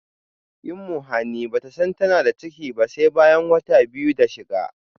imuhani bata san tana da ciki ba sai bayan wata biyu da shiga